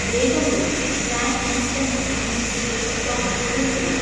വേഗം വരൂ, Tang instant drink മിക്സിൻ്റെ സ്റ്റോക് ഉടൻ തീരും.